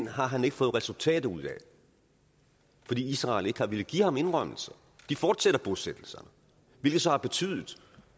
har han ikke fået resultater ud af fordi israel ikke har villet give ham indrømmelser de fortsætter bosættelserne hvilket så har betydet